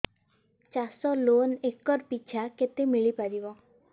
ଚାଷ loan acre ପିଛା କେତେ ମିଳି ପାରିବ